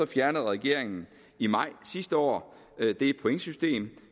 fjernede regeringen i maj sidste år det pointsystem